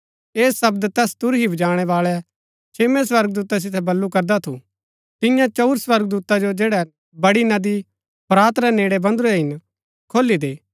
ऐह शब्द तैस तुरही बजाणै बाळै छेम्मै स्वर्गदूता सितै बल्लू करदा थू तियां चंऊर स्वर्गदूता जो जैड़ै बड़ी नदी फरात रै नेड़ै बंधुरै हिन खोली दे